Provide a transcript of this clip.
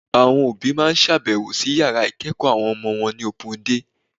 Àwọn òbí máa sábẹ̀wò sí yàrá ìkẹ́ẹ̀kọ̀ àwọn ọmọ wọn ní opun dé.